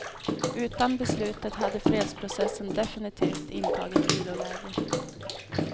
Utan beslutet hade fredsprocessen definitivt intagit viloläge.